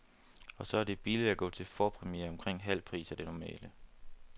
Og så er det billigt at gå til forpremiere, omkring halv pris af det normale.